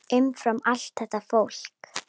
Umfram allt þetta fólk.